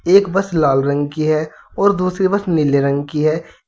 एक बस लाल रंग की है और दूसरी बस नीले रंग की है।